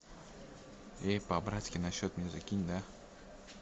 эй по братски на счет мне закинь да